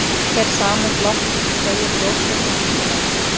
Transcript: Hver sameind loftsins beygir ljósgeislann lítillega.